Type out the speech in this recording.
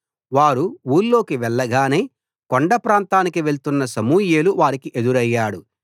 వారు ఊళ్లోకి వెళ్ళగానే కొండ ప్రాంతానికి వెళ్తున్న సమూయేలు వారికి ఎదురయ్యాడు